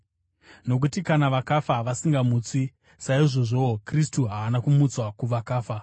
Nokuti kana vakafa vasingamutswi, saizvozvowo Kristu haana kumutswa kuvakafa.